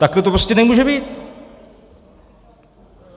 Takhle to prostě nemůže být!